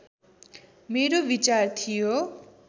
मेरो विचार थियो